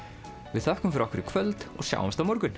við þökkum fyrir okkur í kvöld og sjáumst á morgun